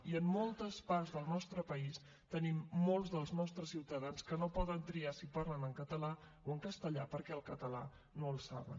i en moltes parts del nostre país tenim molts dels nostres ciutadans que no poden triar si parlen en català o en castellà perquè el català no el saben